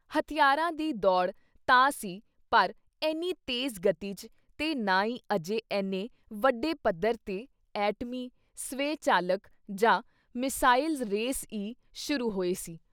ਹਥਿਆਰਾਂ ਦੀ ਦੌੜ ਤਾਂ ਸੀ ਪਰ ਐਨੀ ਤੇਜ਼-ਗਤੀ ‘ਚ ਤੇ ਨਾ ਈ ਅਜੇ ਐਨੇ ਵੱਡੇ ਪੱਧਰ ‘ਤੇ ਐਟਮੀ, ਸ੍ਵੈ-ਚਾਲਕ ਜਾਂ ਮਿਜ਼ਾਇਲ ਰੇਸ ਈ ਸ਼ੁਰੂ ਹੋਈ ਸੀ।